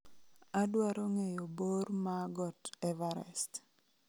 Adwaro ng'eyo bor ma Got Everest